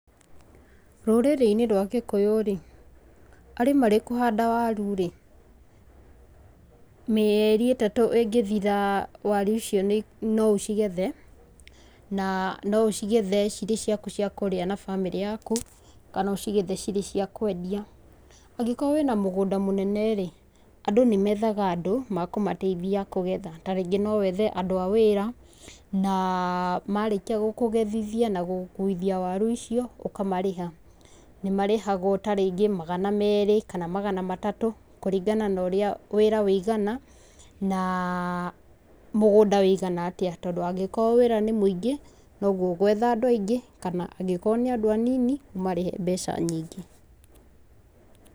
Rũrĩrĩ-inĩ rwa Gĩkũyũ-rĩ, arĩ marĩkũhanda waru-rĩ, mĩeri ĩtatũ ĩngĩthira, waru icio nĩ, noũcigethe. Na noũcigethe cirĩ ciaku cia kũrĩa na bamĩrĩ yaku, kana ũcigethe cirĩ cia kwendia. Angĩkorwo wĩ na mũgũnda mũnene-rĩ, Andũ nĩmethaga Andũ makũmateithia kũgetha. Ta rĩngĩ nowethe Andũ a wĩra na marĩkia gũkũgethithia na gũgũkuithia waru icio ũkamarĩha. Nĩmarĩhagwo ta rĩngĩ magana merĩ, kana magana matatũ kũringana na ũrĩa wĩra ũigana na mũgũnda ũigana atĩa. Tondũ angĩkorwo wĩra nĩ mũingĩ, noguo ũgwetha Andũ aingĩ. Kana angĩkorwo nĩ Andũ anini ũmarihe mbeca nyingĩ.